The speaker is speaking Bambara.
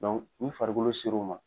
u farikolo seru ma.